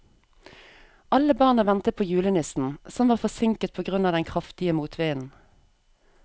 Alle barna ventet på julenissen, som var forsinket på grunn av den kraftige motvinden.